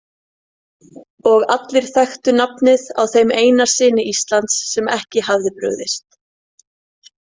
Og allir þekktu nafnið á þeim eina syni Íslands sem ekki hafði brugðist.